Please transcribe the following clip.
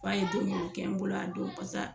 Fɔ an ye don minnu kɛ n bolo a don pas'a